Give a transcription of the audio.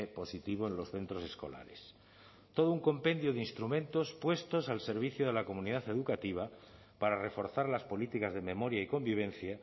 positivo en los centros escolares todo un compendio de instrumentos puestos al servicio de la comunidad educativa para reforzar las políticas de memoria y convivencia